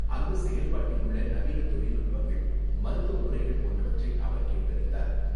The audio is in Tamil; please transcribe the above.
அங்கு செயல்பாட்டில் உள்ள நவீன தொழில்நுட்பங்கள், மருத்துவ முறைகள் போன்றவற்றை அவர் கேட்டறிந்தார்.